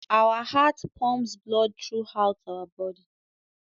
Our heart pumps blood throughout our body